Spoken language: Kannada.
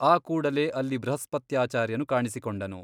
ಆ ಕೂಡಲೇ ಅಲ್ಲಿ ಬೃಹಸ್ಪತ್ಯಾಚಾರ್ಯನು ಕಾಣಿಸಿಕೊಂಡನು.